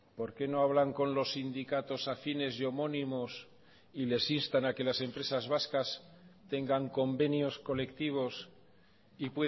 por qué no hablan con los sindicatos afines y homónimos y les instan a que las empresas vascas tengan convenios colectivos y